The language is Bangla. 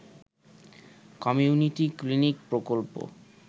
কমিউনিটি ক্লিনিক প্রকল্প